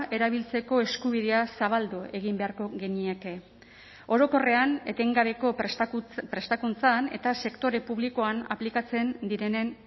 erabiltzeko eskubidea zabaldu egin beharko genieke orokorrean etengabeko prestakuntzan eta sektore publikoan aplikatzen direnen